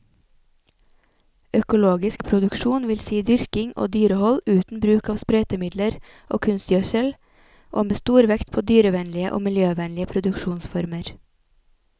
Økologisk produksjon vil si dyrking og dyrehold uten bruk av sprøytemidler og kunstgjødsel, og med stor vekt på dyrevennlige og miljøvennlige produksjonsformer.